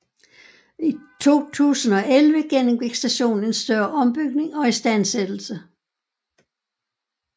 I 2011 gennemgik stationen en større ombygning og istandsættelse